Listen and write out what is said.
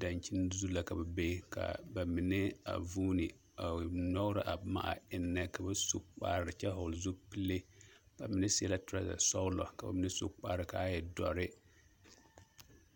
daŋkyini zu la ka ba be ka ba mine vuune a nyɔɡrɔ a boma ennɛ ka ba mine su kpar kyɛ hɔɔle zupile sɔɡelɔ kyɛ su kpar ka a e dɔre.